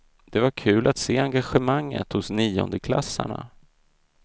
Det var kul att se engagemanget hos niondeklassarna.